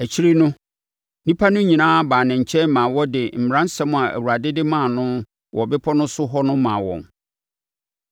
Akyire no, nnipa no nyinaa baa ne nkyɛn maa ɔde mmaransɛm a Awurade de maa no wɔ bepɔ no so hɔ no maa wɔn.